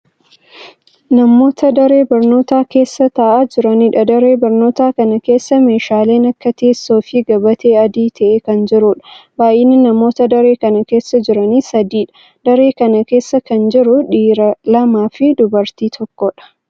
Namoota daree barnootaa keessa taa'aa jiraniidha. Daree barnootaa kana keessa, meeshaalen akka teessoo fi gabatee adii ta'e kan jiruudha. Baay'inni namoota daree kana keessa jiranii sadiidha. Daree kana keessa kan jiru, dhiira lama fi dubartii tokkodha.